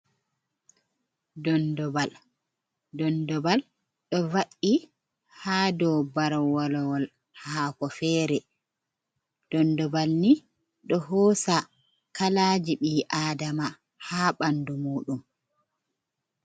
Dondobal, dondobal ɗo va’i haa dow barwalowol haako feere, dondobal ni ɗo hoosa kalaaji ɓii aadama haa ɓanndu muuɗum.